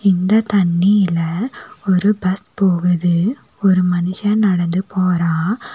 இந்த தண்ணில ஒரு பஸ் போகுது ஒரு மனுஷ நடந்து போறா.